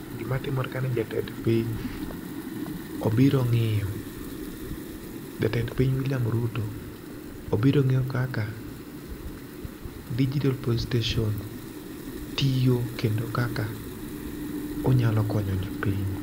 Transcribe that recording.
Gima timore ka ni jatend piny obiro ng'iyo. Jatend piny Wiliam Ruto obiro ng'iyo kaka Digital police station tiyo kendo kaka onyalo konyo jopiny.